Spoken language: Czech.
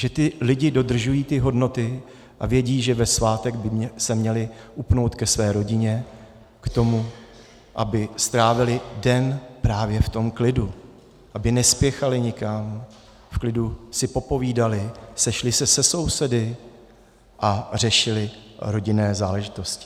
Že ti lidé dodržují ty hodnoty a vědí, že ve svátek by se měli upnout ke své rodině, k tomu, aby strávili den právě v tom klidu, aby nespěchali nikam, v klidu si popovídali, sešli se se sousedy a řešili rodinné záležitosti.